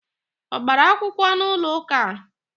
Ọ gbara akwụkwọ n'ụlọụka a?